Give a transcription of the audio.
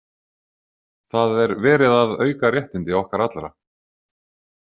Það er verið að auka réttindi okkar allra.